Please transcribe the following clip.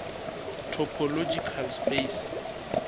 topological space